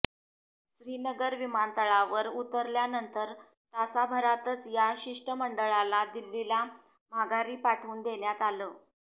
श्रीनगर विमानतळावर उतरल्यानंतर तासाभरातच या शिष्टमंडळाला दिल्लीला माघारी पाठवून देण्यात आलं